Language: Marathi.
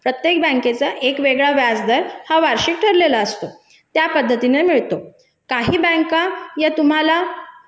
प्रत्येक बँकेचा एक वेगळा व्याजदर हा वार्षिक ठरलेला असतो त्या पद्धतीने मिळतो काही बँका तुम्हाला